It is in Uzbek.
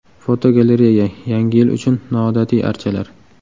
Fotogalereya: Yangi yil uchun noodatiy archalar.